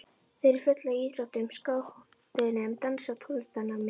Þau eru á fullu í íþróttum, skátunum, dansi og tónlistarnámi.